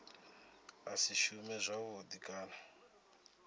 a si shume zwavhudi kana